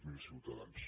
zero ciutadans